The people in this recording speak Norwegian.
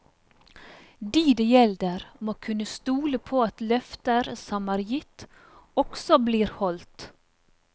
De det gjelder, må kunne stole på at løfter som er gitt, også blir holdt.